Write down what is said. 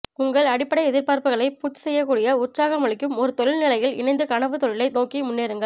உங்கள் அடிப்படை எதிர்பார்ப்புக்களைப் பூர்த்திசெய்யக்கூடிய உற்சாகமளிக்கும் ஒரு தொழில்நிலையில் இணைந்து கனவுத் தொழிலை நோக்கி முன்னேறுங்கள்